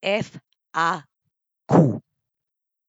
F A Q.